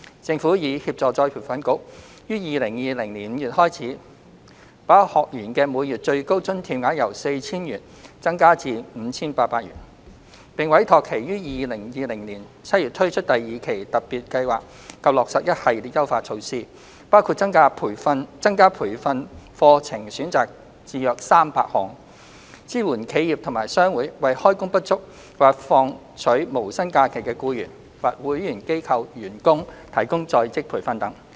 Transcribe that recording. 政府已協助再培訓局於2020年5月開始，把學員的每月最高津貼額由 4,000 元增加至 5,800 元；並委託其於2020年7月推出第二期特別計劃及落實一系列優化措施，包括增加培訓課程選擇至約300項，支援企業及商會為開工不足或放取無薪假期的僱員或會員機構員工提供在職培訓等。